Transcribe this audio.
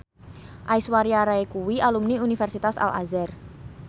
Aishwarya Rai kuwi alumni Universitas Al Azhar